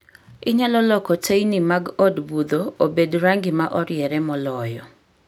Inyalo loko teyni mag od budho obed rangi ma oriere moloyo